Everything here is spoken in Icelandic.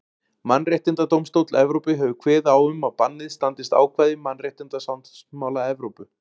Mannréttindadómstóll Evrópu hefur kveðið á um að bannið standist ákvæði mannréttindasáttmála Evrópu.